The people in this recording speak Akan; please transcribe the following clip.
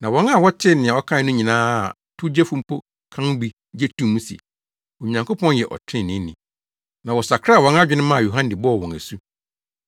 Na wɔn a wɔtee nea ɔkae no nyinaa a towgyefo mpo ka ho bi gye too mu se, Onyankopɔn yɛ ɔtreneeni; na wɔsakraa wɔn adwene maa Yohane bɔɔ wɔn asu.